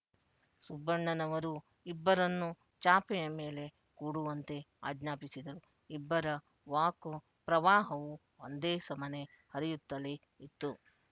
ಸುಬ್ಬಣ್ಣನವರು ಇಬ್ಬರನ್ನು ಚಾಪೆಯ ಮೇಲೆ ಕೂಡುವಂತೆ ಆಜ್ಞಾಪಿಸಿದರು ಇಬ್ಬರ ವಾಕ್ ಪ್ರವಾಹವೂ ಒಂದೇ ಸಮನೆ ಹರಿಯುತ್ತಲೇ ಇತ್ತು